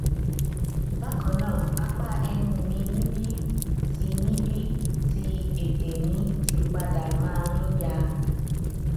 bakannaa apa ẹnu mi níbi tí níbi tí ẹtè mi ti pade ma n ya